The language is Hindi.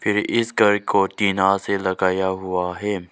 ये इस घर को टीना से लगाया हुआ है।